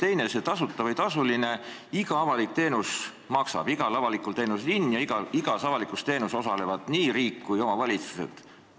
Ja teiseks, ükskõik kas tasuta või tasuline, iga avalik teenus maksab, igal avalikul teenusel on hind ja igas avalikus teenuses osalevad nii riik kui ka omavalitsused.